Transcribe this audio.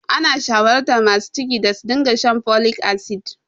Ana shawartar masu ciki da su dinga shan folic acid.